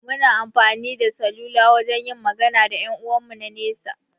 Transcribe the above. Muna amfani da saluwa wajan yin magana da ƴan 'uwan mu na nesa